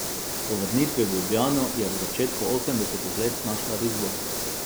Po vrnitvi v Ljubljano je v začetku osemdesetih let našla risbo.